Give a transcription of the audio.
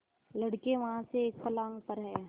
लड़के वहाँ से एक फर्लांग पर हैं